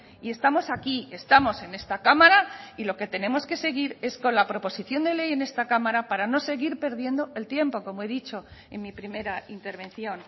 y estamos aquí estamos en esta cámara y lo que tenemos que seguir es con la proposición de ley en esta cámara para no seguir perdiendo el tiempo como he dicho en mi primera intervención